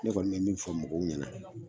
Ne kɔni me min fɔ mɔgɔw ɲɛna.